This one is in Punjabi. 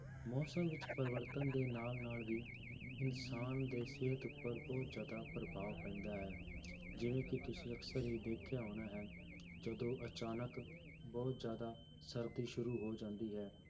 ਮੌਸਮ ਵਿੱਚ ਪਰਿਵਰਤਨ ਦੇ ਨਾਲ ਨਾਲ ਵੀ ਇਨਸਾਨ ਦੇ ਸਿਹਤ ਉੱਪਰ ਬਹੁਤ ਜ਼ਿਆਦਾ ਪ੍ਰਭਾਵ ਪੈਂਦਾ ਹੈ ਜਿਵੇਂ ਕਿ ਤੁਸੀਂ ਅਕਸਰ ਹੀ ਦੇਖਿਆ ਹੋਣਾ ਹੈ ਕਿ ਜਦੋਂ ਅਚਾਨਕ ਬਹੁਤ ਜ਼ਿਆਦਾ ਸਰਦੀ ਸ਼ੁਰੂ ਹੋ ਜਾਂਦੀ ਹੈ